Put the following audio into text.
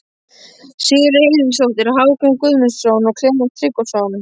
Sigríður Eiríksdóttir, Hákon Guðmundsson, Klemens Tryggvason